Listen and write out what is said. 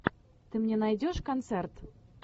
ты мне найдешь концерт